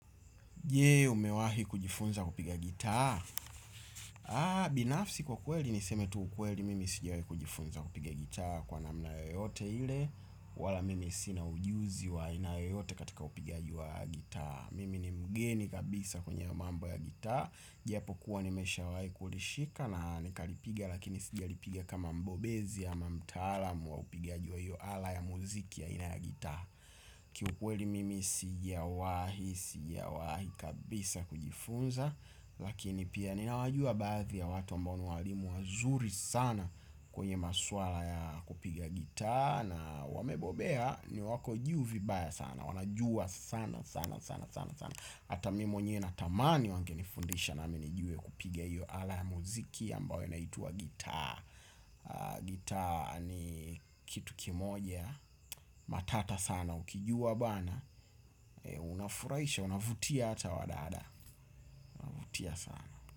Je umewahi kujifunza kupiga gitaa. Binafsi kwa kweli niseme tu kweli mimi sijawahi kujifunza kupiga gitaa. Kwa namna yoyote ile wala mimi sina ujuzi wa aina yoyote katika upigaji wa gitaa. Mimi ni mgeni kabisa kwenye mambo ya gitaa. Japokuwa nimeshawahi kulishika na nikalipiga lakini sijalipiga kama mbobezi ama mtaalamu wa upigaji wa hiyo ala ya muziki ya aina ya gitaa. Kiukweli mimi sijawahi, sijawahi kabisa kujifunza. Lakini pia ninawajua baadhi ya watu ambao ni walimu wazuri sana. Kwenye maswala ya kupiga gitaa na wamebobea ni wako juu vibaya sana. Wanajua sana sana sana sana sana. Hata mimi mwenyewe natamani wangenifundisha nami nijue kupiga hiyo ala ya muziki ambayo inaitwa gitaa. Gitaa ni kitu kimoja. Matata sana ukijua bana. Unafurahisha, unavutia. Ata wadada, huvutia sana.